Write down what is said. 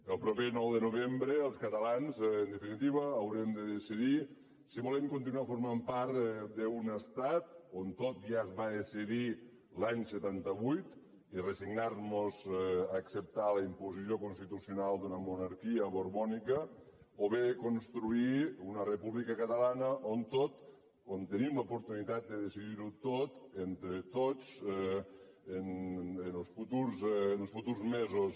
el proper nou de novembre els catalans en definitiva haurem de decidir si volem continuar formant part d’un estat on tot ja es va decidir l’any setanta vuit i resignarmos a acceptar la imposició constitucional d’una monarquia borbònica o bé construir una república catalana on tenim l’oportunitat de decidir ho tot entre tots en els futurs mesos